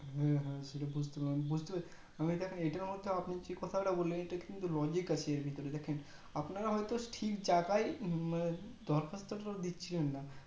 হু হু বুজতে পারছি আমি দেখেন এটার মধ্যেও আপনি যে কথাটা তা বললেন এটার কিন্তু logic আছে এর ভিতরে দেখেন আপনারা হয়তো ঠিক জায়গায় দরখাস্তটা দিচ্ছিলেন না